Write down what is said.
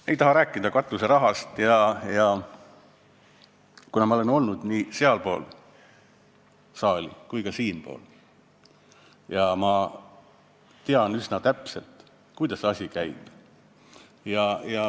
Ma ei taha rääkida katuserahast, kuna ma olen olnud nii sealpool saali kui ka siinpool saali ja tean üsna täpselt, kuidas asi käib.